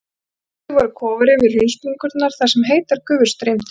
Byggðir voru kofar yfir hraunsprungurnar þar sem heitar gufur streymdu upp.